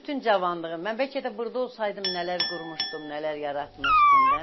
Mən bütün cavanlığım, mən bəlkə də burda olsaydım nələr qurmuşdum, nələr yaratmışdım da.